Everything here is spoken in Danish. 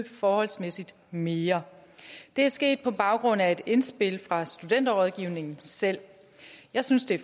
forholdsmæssigt mere det er sket på baggrund af et indspil fra studenterrådgivningen selv jeg synes det